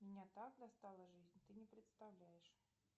меня так достала жизнь ты не представляешь